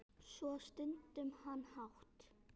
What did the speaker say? Svo stundi hann hátt.